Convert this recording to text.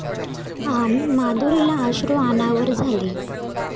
अन् माधुरीला अश्रू अनावर झाले